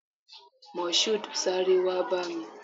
Moshood, sáré wá bá mi!